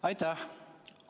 Aitäh!